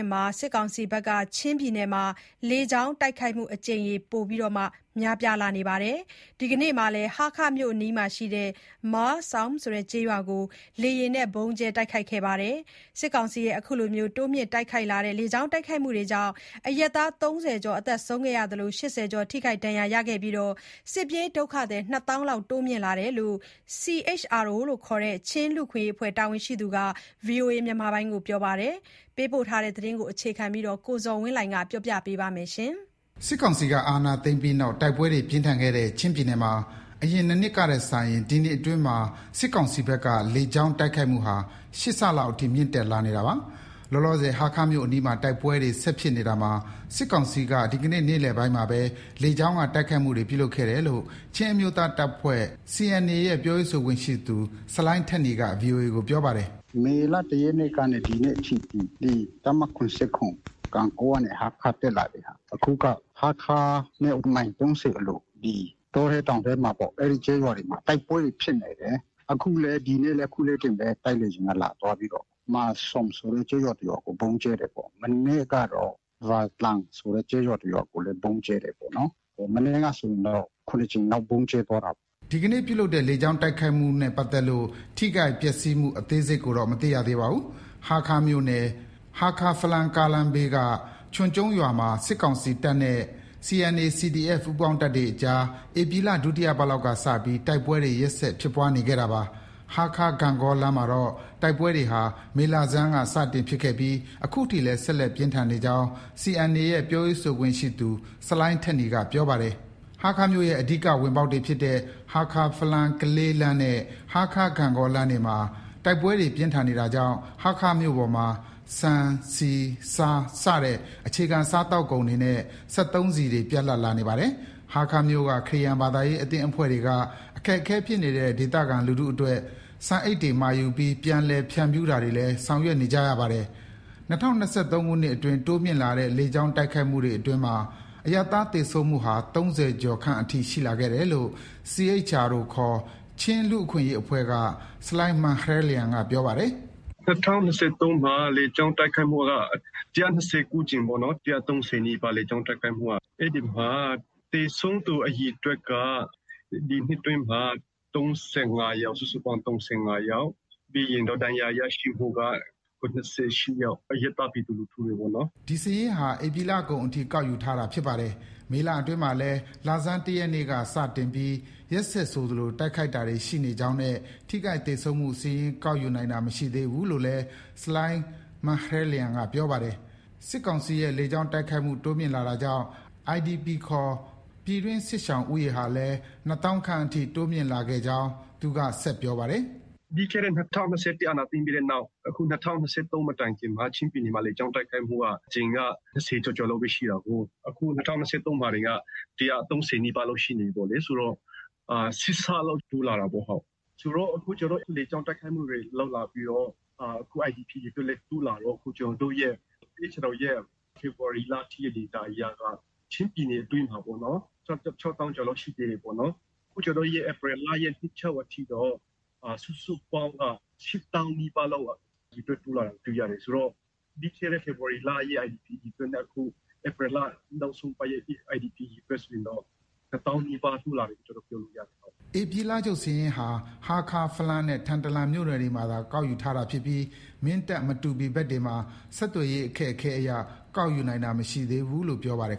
ယ်မှာ စစ်ကောင်စီဘက်က လေကြောင်းတိုက်ခိုက်မှုအကြိမ်ရေ ပိုမိုများပြားနေတာမှာ ဒီကနေ့လည်း ဟားခါးမြို့အနီးက မားလ်ဆောင်မ် ဆိုတဲ့ကျေးရွာကို လေယာဥ်နဲ့ ဗုံးကြဲတိုက်ခိုက်ခဲ့ပါတယ်။ စစ်ကောင်စီရဲ့ တိုးမြင့်လာတဲ့ လေကြောင်း တိုက်ခိုက်မှုတွေကြောင့် အရပ်သား ၃၀ ကျော်သေဆုံးခဲ့သလို ၈၀ ကျော် ထိခိုက်ခဲ့ပြီး စစ်ပြေးဒုက္ခသည် ၂ သောင်းလောက် တိုးမြင့်လာတယ်လို့ CHRO ခေါ် ချင်းလူ့အခွင့်အရေးအဖွဲ့ တာဝန်ရှိသူက ပြောပါတယ်။ ရန်ကုန်က ပေးပို့လာတဲ့ သတင်းကို အခြေခံပြီး ကိုဇော်ဝင်းလှိုင်က တင်ပြပေးပါမယ်။ စစ်ကောင်စီက အာဏာသိမ်းခဲ့ပြီးနောက် တိုက်ပွဲတွေပြင်းထန်ခဲ့တဲ့ ချင်းပြည်နယ်မှာ အရင် ၂ နှစ်ထက်စာရင် ဒီနှစ်အတွင်းမှာ စစ်ကောင်စီဘက်က လေကြောင်း တိုက်ခိုက်မှုဟာ ၈ ဆလောက် အထိ မြင့်တက်လာနေတာပါ။ လောလောဆယ် ဟားခါးမြို့အနီးမှာ တိုက်ပွဲတွေ ဆက်ဖြစ်နေတာမှာ စစ်ကောင်စီက ဒီကနေ့ နေ့လည်ပိုင်းမှာဘဲ လေကြောင်းက တိုက်ခိုက်မှု ပြုလုပ်ခဲ့တယ်လို့ ချင်းအမျိုးသားတပ်ဖွဲ့ CNA ရဲ့ ပြောရေးဆိုခွင့်ရှိသူ ဆလိုင်းထက်နီက ဗွီအိုအေကို ပြောပါတယ်။ “မေလ ၁ရက်နေ့ကနေ ဒီကနေ့အထိ တပ်မ ၇၇ ၊ ဂန့်ဂေါကနေ ဟားခါးတက်လာတဲ့ဟာ ၊ အခုက ဟားခါးနဲ့ မိုင် ၃၀ အလို ဒီ တောထဲ တောင်ထဲမှာ အဲဒီ ကျေးရွာတွေမှာ တိုက်ပွဲတွေ ဖြစ်နေတယ်။ ဒီနေ့လည်း အခုလေးတင်ပဲ တိုက်လေယာဉ်က လာသွားပြီးတော့ မာလ်ဆောမ်ဆိုတဲ့ ကျေးရွာ တစ်ရွာကို ဗုံးကြဲတယ်။ မနေ့ကတော့ ဗန်တလန်းဆိုတဲ့ ကျေးရွာ တစ်ရွာကိုလည်း ဗုံးကြဲတယ်ပေါ့။ မနေ့ကဆိုရင်တော့ ၇ ကြိမ်လောက် ဗုံးကြဲသွားတာပေါ့။” ဒီကနေ့ လေကြောင်းတိုက်ခိုက်မှုနဲ့ပတ်သက်လို့ ထိခိုက် ပျက်ဆီးမှု အသေးစိတ်ကို မသိရသေးပါဘူး။ ဟားခါးမြို့နယ်၊ ဟားခါး−ဖလမ်းကားလမ်းဘေး ချွန်ကျုံးရွာမှာ စစ်ကောင်စီတပ်နဲ့ CNA ၊ CDF ပူးပေါင်းတပ်တွေအကြားက ဧပြီလ ဒုတိယပတ်လောက်က စတင်ပြီး တိုက်ပွဲတွေ ရက်ဆက် ဖြစ်ပွားနေခဲ့တာပါ။ ဟားခါး- ဂန့်ဂေါလမ်းမှာတော့ တိုက်ပွဲတွေဟာ မေလဆန်းက စတင်ဖြစ်ခဲ့ပြီး အခုထိလည်း ဆက်လက် ပြင်းထန်နေကြောင်း CNA ရဲ့ ပြောရေးဆိုခွင့်ရှိသူ ဆလိုင်းထက်နီက ပြောပါတယ်။ ဟားခါးမြို့ရဲ့ အဓိက ဝင်ပေါက်တွေဖြစ်တဲ့ ဟားခါး−ဖလမ်း−ကလေး လမ်းနဲ့ ဟားခါး−ဂန့်ဂေါ လမ်းတွေမှာ တိုက်ပွဲတွေ ပြင်းထန်နေတာကြောင့် ဟားခါးမြို့ပေါ်မှာ ဆန်၊ ဆီ၊ ဆား စတဲ့ အခြေခံစားသောက်ကုန်တွေနဲ့ စက်သုံးဆီတွေ ပြတ်လပ်လာနေပါတယ်။ ဟားခါးမြို့က ခရစ်ယာန် ဘာသာရေးအသင်းအဖွဲ့တွေက အခက်အခဲဖြစ်နေတဲ့ ဒေသခံလူထုအတွက် ဆန်အိတ်တွေမှာယူပြီး ပြန်လည် ဖြန့်ဖြူးတာတွေလည်း ဆောင်ရွက်နေကြရပါတယ်။ ၂၀၂၃ ခုနှစ်အတွင်း တိုးမြင့်လာတဲ့ လေကြောင်း တိုက်ခိုက်မှုတွေအတွင်းမှာ အရပ်သားသေဆုံးမှုဟာ ၃၀ ကျော်ခန့်အထိ ရှိခဲ့တယ်လို့ CHRO ခေါ် ချင်းလူ့အခွင့်အရေးအဖွဲ့က ဆလိုင်းမာန်ဟရဲလျံက ပြောပါတယ်။ “၂၀၂၃ မှာ လေကြောင်းတိုက်ခိုက်မှုက ၁၂၉ ကြိမ်ပေါ့နော်။ ၁၃၀ နီးပါးလေကြောင်းတိုက်ခိုက်မှုက။ အဲဒီမှာ သေဆုံးသူအရေအတွက်က ဒီနှစ်အတွင်းမှာ ၃၅ယောက်။ စုစုပေါင်း ၃၅ယောက်။ ပြီးရင်တော့ ဒဏ်ရာရရှိမှုက ၇၈ယောက် အရပ်သား ပြည်သူလူထုတွေပေါ့နော်။” ဒီစာရင်းဟာ ဧပြီလကုန်အထိ ကောက်ယူထားတာဖြစ်ပါတယ်။ မေလအတွင်းမှာလည်း လဆန်း ၁ရက်နေ့က စတင်ပြီး ရက်ဆက်ဆိုသလို တိုက်ခိုက်တာတွေ ရှိနေကြောင်းနဲ့ ထိခိုက်သေဆုံးမှုစာရင်း ကောက်ယူနိုင်တာမရှိသေးဘူးလို့ ဆလိုင်းမာန်ဟရဲလျံက ပြောပါတယ်။ စစ်ကောင်စီရဲ့ လေကြောင်းတိုက်ခိုက်မှု တိုးမြင့်လာတာကြောင့် IDP ခေါ် ပြည်တွင်း စစ်ရှောင်ဦးရေဟာလည်း ၂သောင်းခန့် တိုးမြင့်လာကြောင်း သူက ဆက်ပြောပါတယ်။ “ပြီးခဲ့တဲ့ ၂၀၂၁ အာဏာသိမ်းပြီးတဲ့နောက် အခု ၂၀၂၃ မတိုင်ခင်မှာ ချင်းပြည်နယ်မှာ လေကြောင်း တိုက်ခိုက်မှုက အကြိမ်က ၂၀ ကျော်ကျော်လောက်ပဲ ရှိတာကိုး။ အခု ၂၀၂၃ မှာတင်က အကြိမ်က ၁၃၀လောက်ရှိနေပြီလေ။ ဆိုတော့ ၈ဆလောက် တိုးလာတာပေါ့။ ဆိုတော့ အခုလေကြောင်းတိုက်ခိုက်မှုတွေ လုပ်လာပြီးတော့ IDP အရေအတွက်လည်း တိုးလာတော့ အခု ကျနော်တို့ရဲ့ CHRO ရဲ့ ဖေဖော်ဝါရီလအထိ ဒေတာ အရက ချင်းပြည်နယ်အတွင်းမှာပေါ့နော်၊ ၆သောင်းကျော်လောက် ရှိသေးတယ်။ အခု ဧပြီလရဲ့ နှစ်ချုပ်အထိတော့ စုစုပေါင်းက ၈သောင်းနီးပါးလောက် အရေအတွက် တိုးလာတာကို တွေ့ရတယ်။ ဆိုတော့ ပြီးခဲ့တဲ့ ဖေဖော်ဝါရီလရဲ့ IDP အရေအတွက်နဲ့ အခု ဧပြီလ နောက်ဆုံးအပတ်ရဲ့ IDP အရေအတွက်ဆိုရင်တော့ ၂သောင်းနီးပါး တိုးလာတယ်လို့ ကျနော်တို့ ပြောလို့ ရတယ်။” ဧပြီလချုပ်စာရင်းဟာ ဟားခါး၊ ဖလမ်းနဲ့ ထန်တလန်မြို့နယ်တွေမှာသာ ကောက်ယူထားတာဖြစ်ပြီး မင်းတပ်၊ မတူပီဘက်တွေမှာ ဆက်သွယ်ရေး အခက်အခဲအရ ကောက်ယူနိုင်တာ မရှိသေးဘူးလို့ ပြောပါတယ်